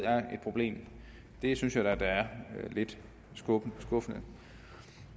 er et problem det synes jeg da er lidt skuffende